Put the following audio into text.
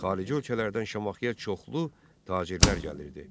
Xarici ölkələrdən Şamaxıya çoxlu tacirlər gəlirdi.